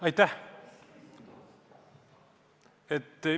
Aitäh!